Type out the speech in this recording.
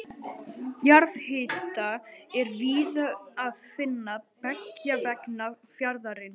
Jarðhita er víða að finna beggja vegna fjarðarins.